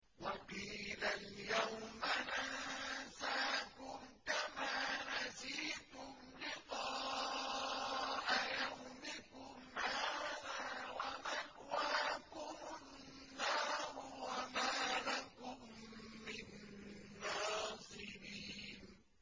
وَقِيلَ الْيَوْمَ نَنسَاكُمْ كَمَا نَسِيتُمْ لِقَاءَ يَوْمِكُمْ هَٰذَا وَمَأْوَاكُمُ النَّارُ وَمَا لَكُم مِّن نَّاصِرِينَ